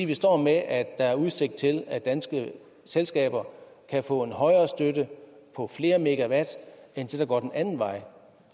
vi står med at der er udsigt til at danske selskaber kan få en højere støtte på flere megawatt end der går den anden vej